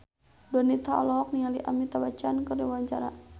Donita olohok ningali Amitabh Bachchan keur diwawancara